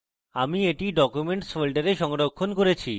আমি এটি documents folder সংরক্ষণ করেছি